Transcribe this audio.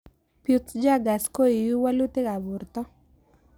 Peutz Jaghers koiu walutik ab porto